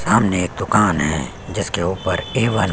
सामने एक दुकान है जिसके ऊपर ए _वन --